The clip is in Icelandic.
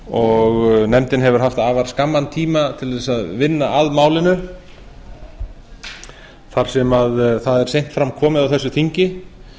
og nefndin hefur haft afar skamman tíma til að þess að vinna að málinu þar sem það er seint fram komið á þessu þingi